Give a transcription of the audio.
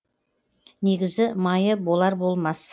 негізі майы болар болмас